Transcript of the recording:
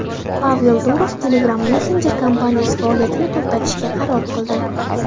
Pavel Durov Telegram Messenger kompaniyasi faoliyatini to‘xtatishga qaror qildi .